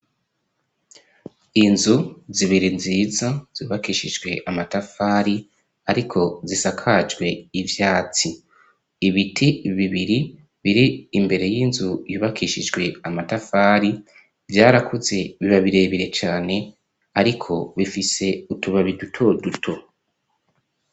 Inzu zibiri nziza zubakishijwe amatafari ariko zisakajwe ivyatsi ibiti bibiri biri imbere y'inzu yubakishijwe amatafari vyarakuze biba bire bire cane ariko bifise utubabi duto duto.